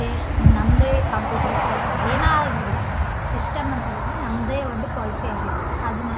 taste ನಂದೇ computer set ಏನೆ ಆಗ್ಲಿ ಸಿಸ್ಟಮ ಅಂತ ಅಂದ್ರ ನಮ್ದೇ ಒಂದು ಪಾಲಿಸಿ ಆಗಿರ್ಬೇಕು ಅದೇ --